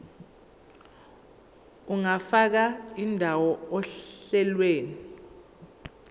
ungafaka indawo ohlelweni